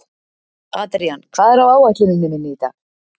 Adrían, hvað er á áætluninni minni í dag?